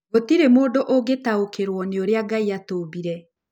Gũtirĩ mũndũ ũngĩtaũkĩrũo nĩ ũrĩa Ngai aatũmbire.